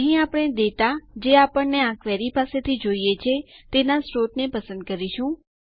અહીં આપણે ડેટા જે આપણને આ ક્વેરી પાસેથી જોઈએ છેતેના સ્ત્રોતને પસંદ કરીશું